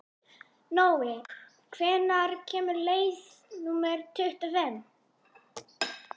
Nói, hvenær kemur leið númer tuttugu og fimm?